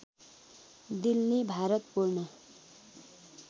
दिल्ली भारत पूर्ण